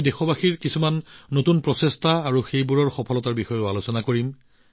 আমি দেশবাসীৰ কিছু নতুন প্ৰচেষ্টা আৰু তেওঁলোকৰ সফলতাৰ বিষয়ে আলোচনা কৰিম